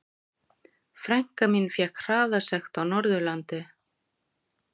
Frænka mín fékk hraðasekt á Norðurlandi.